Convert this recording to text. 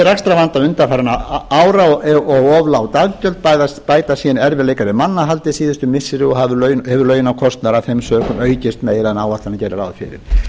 rekstrarvanda undanfarinna ára og of lág daggjöld bætast síðan erfiðleikar við mannahaldið síðustu missiri og hefur launakostnaður af þeim sökum aukist meira en áætlanir gerðu ráð fyrir